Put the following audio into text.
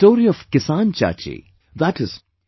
The story of 'KisanChachi', i